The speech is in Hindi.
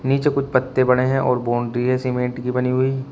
नीचे कुछ पत्ते पड़े हैं और बाउंड्री है सीमेंट की बनी हुई।